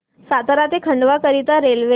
सातारा ते खंडवा करीता रेल्वे